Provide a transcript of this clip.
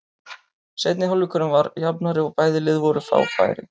Seinni hálfleikurinn var jafnari og bæði lið voru að fá færi.